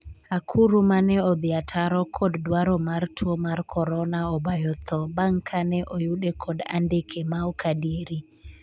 akuru 'mane odhi ataro kod dwaro mar tuo mar korona obayo tho bang' kane oyude kod andike ma ok adieri